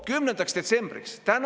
" 10. detsembriks?